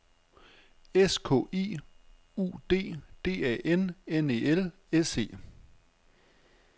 S K I U D D A N N E L S E